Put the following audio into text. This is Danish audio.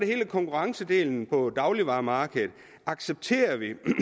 hele konkurrencedelen på dagligvaremarkedet accepterer